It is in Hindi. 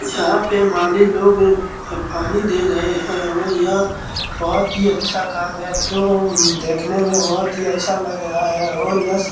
यहाँ पे माली लोग पानी दे रहें हैं और यह बहुत ही अच्छा काम है जो देखने में बहुत ही अच्छा लग रहा है और यह --